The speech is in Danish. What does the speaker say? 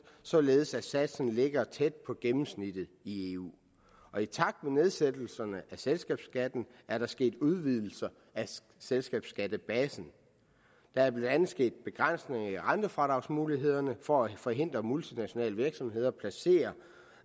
således at satsen ligger tæt på gennemsnittet i eu og i takt med nedsættelserne af selskabsskatten er der sket udvidelser af selskabsskattebasen der er blandt andet sket begrænsninger i rentefradragsmulighederne for at forhindre at multinationale virksomheder placerer